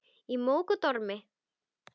Í móki og dormi.